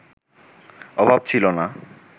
অভাব ছিল না